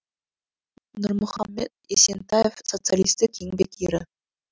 нұрмұхамед есентаев социалистік еңбек ері